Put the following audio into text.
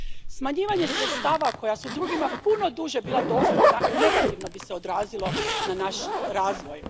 Smanjivanje sredstava koja su drugima puno duže bila dostupna negativno bi se odrazilo na naš razvoj.